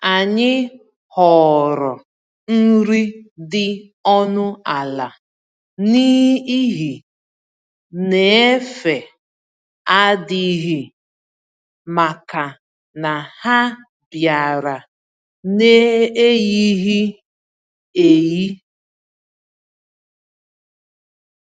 Anyị họọrọ nri dị ọnụ ala, n'ihi n'efe adịghị, màkà na ha biara n'eyighi-eyi.